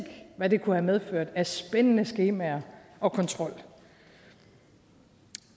hvad det kunne have medført af spændende skemaer og kontrol